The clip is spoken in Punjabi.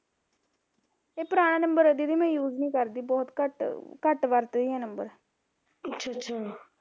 ਪੁਰਾਣਾ ਨੰਬਰ ਹੈ ਦੀਦੀ ਮੈਂ use ਨੀ ਕਰਦੀ, ਬਹੁਤ ਘੱਟ ਘੱਟ ਵਰਤਦੀ ਏਹ ਨੰਬਰ